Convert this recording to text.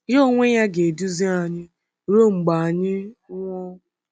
Ya onwe ya ga-eduzi anyị ruo mgbe anyị nwụọ.”